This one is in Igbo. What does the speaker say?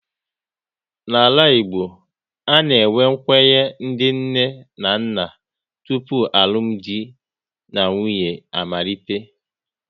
N'ala Igbo, a na-enwe nkwenye ndị nne na nna tụpụ alụmdi na nwunye amalite